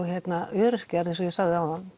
öryrkjar eins og ég sagði áðan